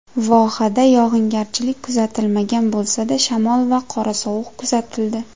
Vohada yog‘ingarchilik kuzatilmagan bo‘lsa-da, shamol va qorasovuq kuzatildi.